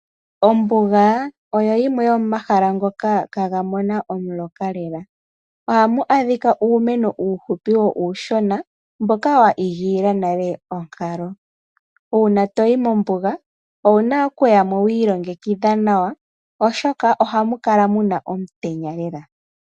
Ombuga oyo yimwe yomomahala ngoka kaga mona omuloka lela, ohamu adhika uumeno uuhupi wo uushona. Mboka wa igilila nale onkalo, uuna toyi mombuga owu na okuya mo wa ilongekidha nawa, oshoka ohamu kala muna omutenya lela.